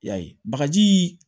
Y'a ye bagajii